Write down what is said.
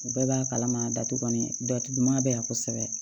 U bɛɛ b'a kalama datugu nin datuguma be yan kosɛbɛ